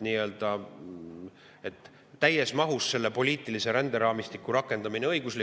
Kui täies mahus õiguslikult seda poliitilist ränderaamistikku rakendada, tuleks